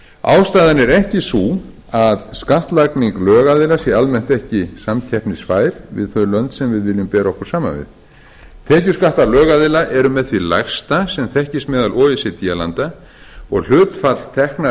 ástæðan er ekki sú að skattlagning lögaðila sé almennt ekki samkeppnisfær við þau lönd sem við viljum bera okkur saman við tekjuskattar lögaðila eru með því lægsta sem þekkist meðal o e c d landa og hlutfall tekna